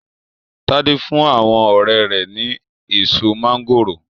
Tade fún àwọn ọrẹ́ rẹ̀ ni èso máńgòrò.